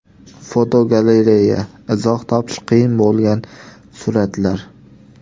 Fotogalereya: Izoh topish qiyin bo‘lgan suratlar.